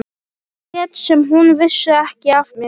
Lét sem hún vissi ekki af mér.